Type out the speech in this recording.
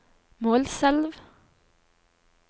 Målselv